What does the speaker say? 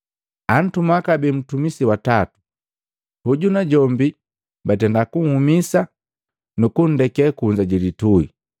Antuma kabee ntumisi wa tatu, hoju najombi, batenda kunhumisa, nukundeke kunza jilitui.